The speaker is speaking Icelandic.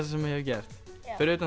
sem ég hef gert fyrir utan